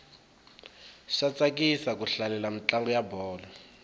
swa tsakisa ku hlalela mintlangu ya bolo